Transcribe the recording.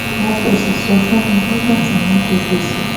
wọn kò sì sọ fún mi nígbà tí wọn ń jẹ gbèsè